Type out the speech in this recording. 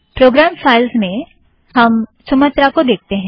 programme files में हम Sumatra को देखते हैं